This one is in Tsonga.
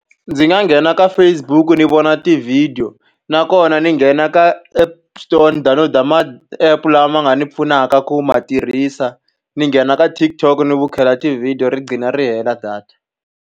Ndzi nga nghena ka Facebook ni vona ti-video, nakona ndzi nghena ka App Store ni download-a ma-app lama nga ni pfunaka ku ma tirhisa. Ni nghena ka TikTok ni vukheta tivhidiyo ri qgina ri hela data.